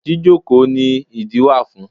Jíjókòó ni ìdí wà fún.